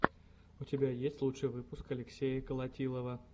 у тебя есть лучший выпуск алексея колотилова